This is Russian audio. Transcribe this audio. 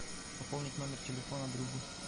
пополнить номер телефона другу